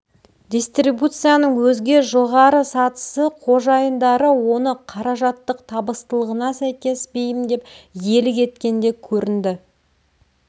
дистрибуцияның өзге жоғары сатысы қожайындары оны қаражаттық табыстылығына сәйкес бейімдеп иелік еткенде көрінді